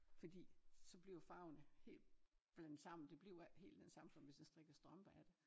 Fordi så bliver farverne helt blandet sammen det bliver ikke helt den samme som hvis jeg strikker strømper af det